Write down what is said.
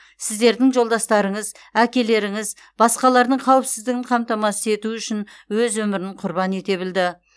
сіздердің жолдастырыңыз әкелеріңіз басқалардың қауіпсіздігін қамтамасыз ету үшін өз өмірін құрбан ете білді